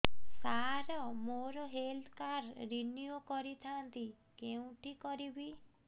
ସାର ମୋର health card renew କରିଥାନ୍ତି କେଉଁଠି କରିବି